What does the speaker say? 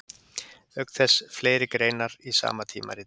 Auk þess fleiri greinar í sama tímariti.